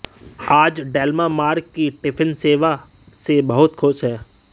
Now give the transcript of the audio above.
आज Delma Mark की tiffin सेवा से बहुत खुश है